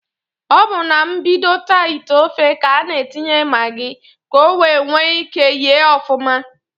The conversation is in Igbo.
Ọ bụ na mbidota ite ofe k'a n'atinye magị k'owee nwee ike yee ọfụma.